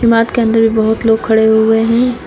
इमारत के अंदर भी बहुत लोग खड़े हुए है।